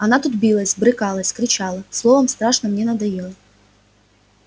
она тут билась брыкалась кричала словом страшно мне надоела